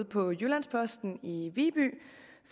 på jyllands posten i viby